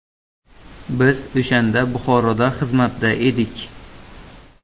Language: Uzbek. Biz o‘shanda Buxoroda xizmatda edik.